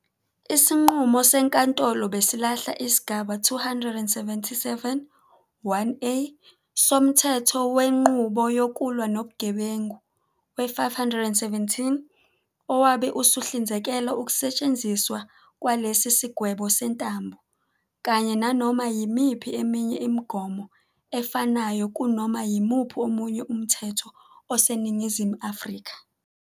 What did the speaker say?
Isinqumo senkantolo besilahla isigaba 277, 1, a, soMthetho Wenqubo Yokulwa Nobugebengu, we-517, owabe usuhlinzekela ukusetshenziswa kwalesi sigwebo sentambo, kanye nanoma yimiphi eminye imigomo efanayo kunoma yimuphi omunye umthetho oseNingizimu Afrika.